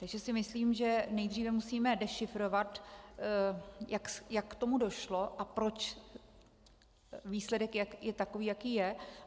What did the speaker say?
Takže si myslím, že nejdříve musíme dešifrovat, jak k tomu došlo a proč výsledek je takový, jaký je.